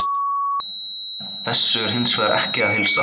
Þessu er hins vegar ekki að heilsa.